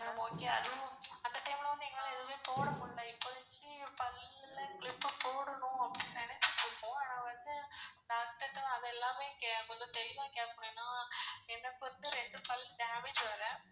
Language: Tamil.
Ma'am okay அதுவும் அந்த time ல வந்து எங்களால போட முடில்ல இப்போதிக்கு பல்லுல clip போடணும் அப்படினு நெனசிக்குட்டு இருக்கோம். அனா வந்து doctor ட்ட அதெல்லாமே கொஞ்சம் தெளிவா கேக்கமுடியாது ஏன்னா எனக்கு வந்து ரெண்டு பல் damage வேற.